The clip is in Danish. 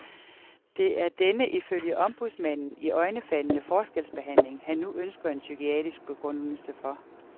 Det er denne, ifølge ombudsmanden, iøjnefaldende forskelsbehandling, han nu ønsker en psykiatrisk begrundelse for.